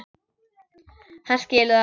Hann skilur það.